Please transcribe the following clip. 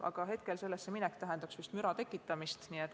Aga hetkel tähendaks sellesse minek vist müra tekitamist.